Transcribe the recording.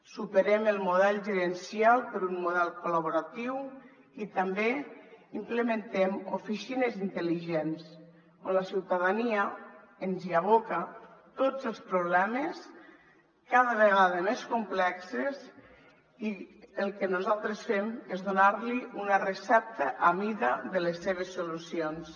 superem el model gerencial per un model col·laboratiu i també implementem oficines intel·ligents on la ciutadania ens hi aboca tots els problemes cada vegada més complexos i el que nosaltres fem és donar li una recepta a mida de les seves solucions